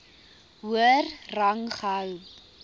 hoër rang gehou